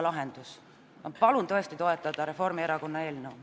Ma palun toetada Reformierakonna eelnõu!